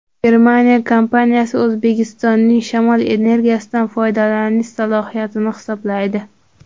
Germaniya kompaniyasi O‘zbekistonning shamol energiyasidan foydalanish salohiyatini hisoblaydi.